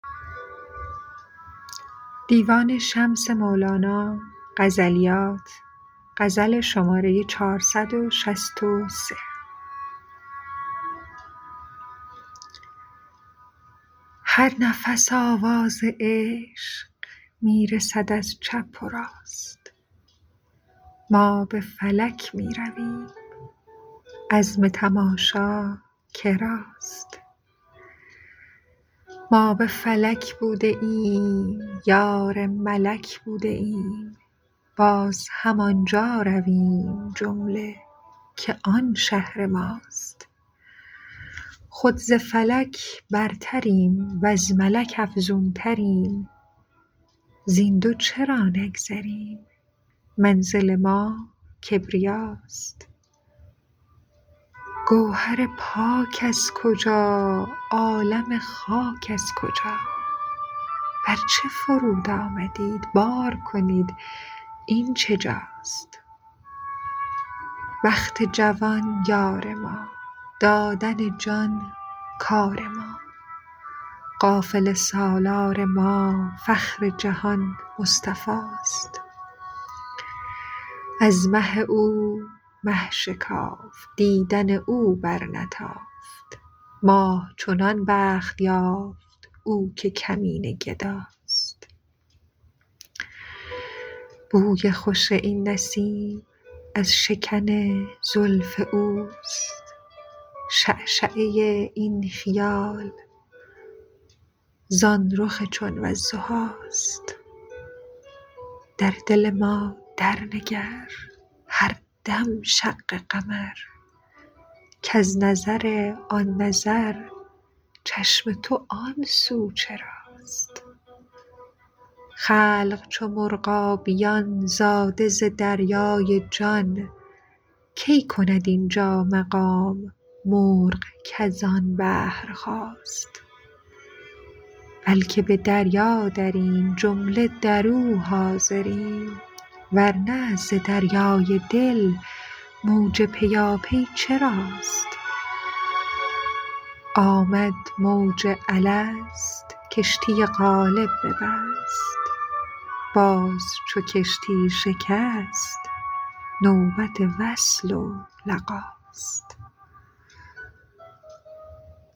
هر نفس آواز عشق می رسد از چپ و راست ما به فلک می رویم عزم تماشا که راست ما به فلک بوده ایم یار ملک بوده ایم باز همان جا رویم جمله که آن شهر ماست خود ز فلک برتریم وز ملک افزونتریم زین دو چرا نگذریم منزل ما کبریاست گوهر پاک از کجا عالم خاک از کجا بر چه فرود آمدیت بار کنید این چه جاست بخت جوان یار ما دادن جان کار ما قافله سالار ما فخر جهان مصطفاست از مه او مه شکافت دیدن او برنتافت ماه چنان بخت یافت او که کمینه گداست بوی خوش این نسیم از شکن زلف اوست شعشعه این خیال زان رخ چون والضحاست در دل ما درنگر هر دم شق قمر کز نظر آن نظر چشم تو آن سو چراست خلق چو مرغابیان زاده ز دریای جان کی کند این جا مقام مرغ کز آن بحر خاست بلک به دریا دریم جمله در او حاضریم ور نه ز دریای دل موج پیاپی چراست آمد موج الست کشتی قالب ببست باز چو کشتی شکست نوبت وصل و لقاست